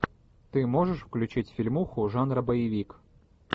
ты можешь включить фильмуху жанра боевик